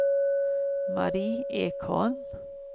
Mari Ekholm